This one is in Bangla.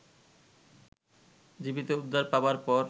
জীবিত উদ্ধার পাবার পর